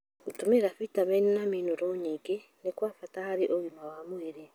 Gũtũmĩra vitameni na minũrũ nyingĩ nĩ kwa bata harĩ ũgima wa mwĩrĩ.